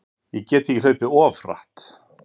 Ég get ekki hlaupið of hratt?